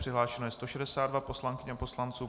Přihlášeno je 162 poslankyň a poslanců.